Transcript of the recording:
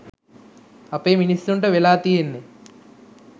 අපේ මිනිස්සුන්ට වෙලා තියෙන්නෙ